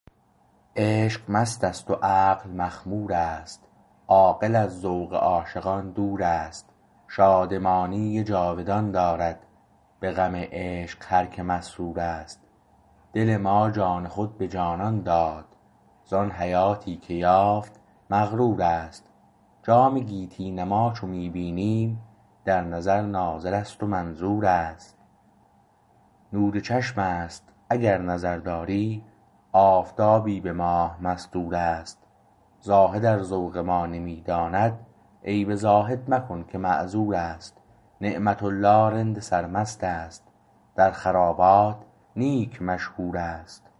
عشق مستست و عقل مخمور است عاقل از ذوق عاشقان دور است شادمانی جاودان دارد به غم عشق هر که مسرور است دل ما جان خود به جانان داد ز آن حیاتی که یافت مغرور است جام گیتی نما چو می بینیم در نظر ناظر است و منظور است نور چشم است اگر نظر داری آفتابی به ماه مستور است زاهد ار ذوق ما نمی داند عیب زاهد مکن که معذور است نعمت الله رند سرمست است در خرابات نیک مشهور است